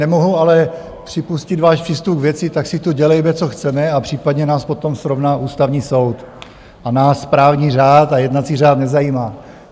Nemohu ale připustit váš přístup k věci: Tak si tu dělejme, co chceme, a případně nás potom srovná Ústavní soud, a nás právní řád a jednací řád nezajímá.